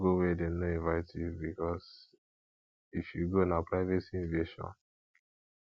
no go where dem no invite you because if you go na privacy invasion